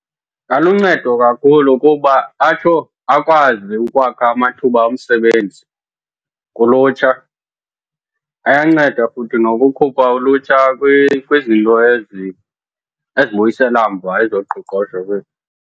Ingaluncedo kakhulu kuba atsho akwazi ukwakha amathuba omsebenzi kulutsha. Ayanceda futhi nokukhupha ulutsha kwizinto ezibuyisela mva ezoqoqosho kweli.